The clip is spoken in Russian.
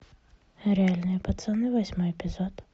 реальные пацаны восьмой эпизод